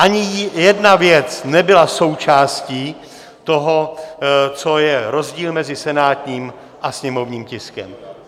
Ani jedna věc nebyla součástí toho, co je rozdíl mezi senátním a sněmovním tiskem.